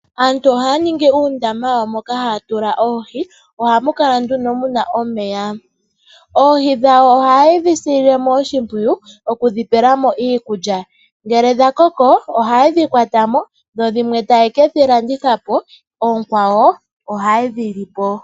Aantu ohaya ningi uundama wawo moka haya tula oohi. Ohamu kala nduno muna omeya. Oohi dhawo ohaye dhi sililemo oshimpwiyu , okudhi pelamo iikulya. Ngele dhakoko ohayedhi kwatamo dho dhimwe taye kedhi landithapo, oonkwawo ohayedhi lipo.